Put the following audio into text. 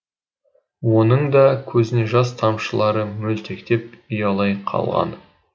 оның да көзіне жас тамшылары мөлтектеп ұялай қалған